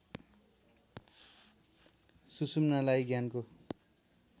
सुषुम्नालाई ज्ञानको